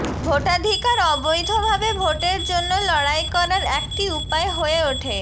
ভোটাধিকার অবৈধভাবে ভোটের জন্য লড়াই করার একটি উপায় হয়ে ওঠে